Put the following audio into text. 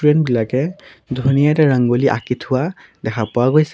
বিলাকে ধুনীয়াকে ৰঙ্গলী আঁকি থোৱা দেখা পোৱা গৈছে।